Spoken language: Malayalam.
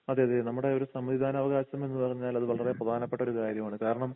അതെ അതെ നമ്മുടെ ഒരു സമ്മതിദാന അവകാശം എന്നുപറഞ്ഞാൽ അത് വളരെ പ്രധാനപ്പെട്ട ഒരു കാര്യമാണ് കാരണം